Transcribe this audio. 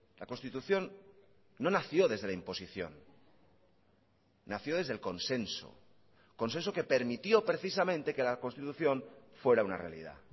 la constitución no nació desde la imposición nació desde el consenso consenso que permitió precisamente que la constitución fuera una realidad